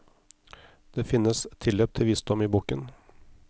Det finnes tilløp til visdom i boken.